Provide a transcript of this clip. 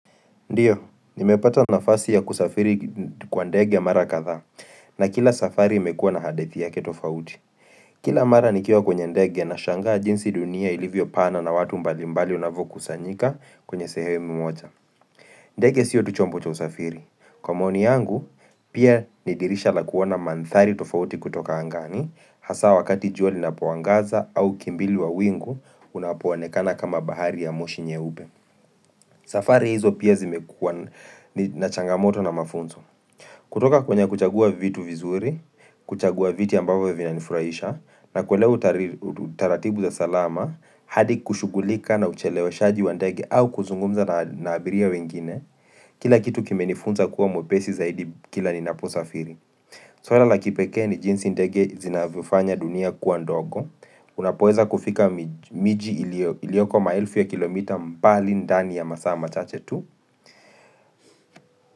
Ndiyo, nimepata nafasi ya kusafiri kwa ndege mara kadhaa na kila safari imekuwa na hadithi yake tofauti. Kila mara nikiwa kwenye ndege nashangaa jinsi dunia ilivyo pana na watu mbalimbali unavyokusanyika kwenye sehewe mmoja. Ndege sio tu chombo cha usafiri. Kwa maoni yangu, pia ni dirisha la kuona mandhari tofauti kutoka angani, hasa wakati jua linapoangaza au kimbilu wa wingu unapoonekana kama bahari ya moshi nyeupe. Safari hizo pia zimekuwa na changamoto na mafunzo kutoka kwenye kuchagua vitu vizuri, kuchagua viti ambapo vina nifuraisha na kuelewa utaratibu za salama, hadi kushugulika na uchelewashaji wa ndegi au kuzungumza na abiria wengine Kila kitu kimenifunza kuwa mwepesi zaidi kila ninapo safiri swala la kipeke ni jinsi ndege zinavufanya dunia kuwa ndogo Unapoeza kufika miji ilioko maelfu ya kilomita mbali ndani ya masaa machache tu.